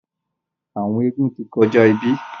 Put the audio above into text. àwọn eégún tí kọjá ibí.